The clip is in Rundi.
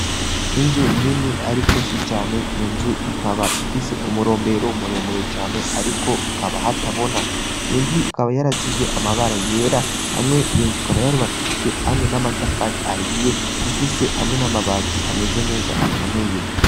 Inzu nini, ariko si cane iyo nzu ikaba ifise umurombero umuremure cane, ariko akaba hatabona iyo nzu ikaba yarasizwe amabara yera hamwe iyo nzukaba yarubakishijwe hamwe n'amatafari ahiye ifise hamwe n'amabazi ameze neza akomeye.